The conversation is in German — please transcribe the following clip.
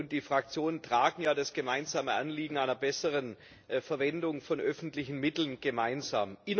Die Fraktionen tragen ja das gemeinsame Anliegen einer besseren Verwendung von öffentlichen Mitteln gemeinsam.